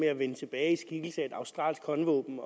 at vende tilbage i skikkelse af et australsk håndvåben